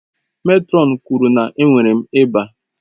Mètrọn kwuru na enwere m ịba.